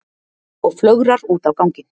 Og flögrar út á ganginn.